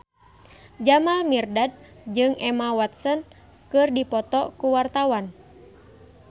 Jamal Mirdad jeung Emma Watson keur dipoto ku wartawan